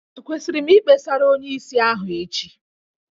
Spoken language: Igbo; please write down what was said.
Ekwesịrị m Ikpesara onyeisi ahụ echi?